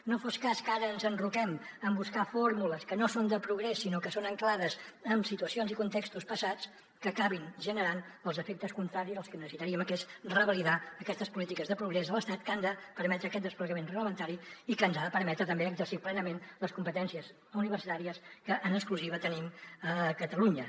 no fos cas que ara ens enroquem en buscar fórmules que no són de progrés sinó que són ancorades en situacions i contextos passats que acabin generant els efectes contraris dels que necessitaríem que són revalidar aquestes polítiques de progrés a l’estat que han de permetre aquest desplegament reglamentari i que ens han de permetre també exercir plenament les competències universitàries que en exclusiva tenim a catalunya